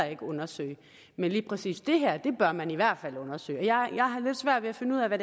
ikke undersøge men lige præcis det her bør man i hvert fald undersøge jeg har lidt svært ved at finde ud af hvad